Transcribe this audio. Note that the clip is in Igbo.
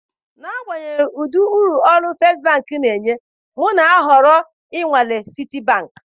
N'agbanyeghị ụdị uru ụlọ égo First Bank na-enye, m na-ahọrọ inwalee Citibank.